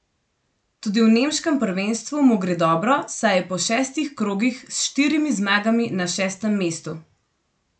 Tudi v nemškem prvenstvu mu gre dobro, saj je po šestih krogih s štirimi zmagami na šestem mestu.